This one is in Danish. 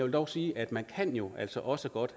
dog sige at man jo altså også godt